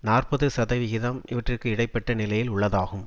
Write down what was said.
நாற்பது சதவிகிதம் இவற்றிற்கு இடை பட்ட நிலையில் உள்ளதாகும்